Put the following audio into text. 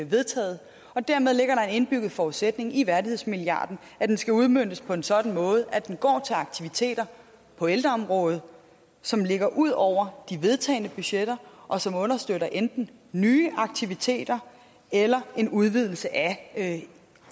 vedtaget dermed ligger der den indbyggede forudsætning i værdighedsmilliarden at den skal udmøntes på en sådan måde at den går til aktiviteter på ældreområdet som ligger ud over de vedtagne budgetter og som understøtter enten nye aktiviteter eller en udvidelse af